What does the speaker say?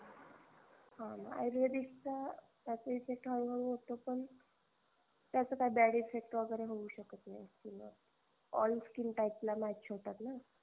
हाणा आयुर्वेदिकचा त्याचा effect हळू हळू होतो पण त्याचा काही bad effect वगेरे होऊ शकत नाही skin वर all skin type ला match होतात ना